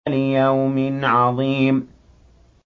لِيَوْمٍ عَظِيمٍ